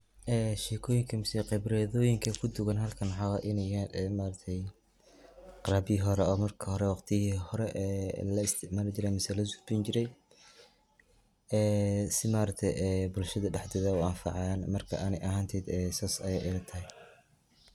Ee shekoyiinka miseh qibradoyiinka kuu dugaan halkaan waxa wayee inee yahaan ee maaragte qalabyaahi hoore ee maarka hoore waqtiiyihi hoore ee laisticmaali jiire miseh losodonii jiiray. ee sii maaragte ee bulshaada dhexdeeda uu anfacayaan. markaa anii ahanteydaa ayey sas ayey ila tahaay.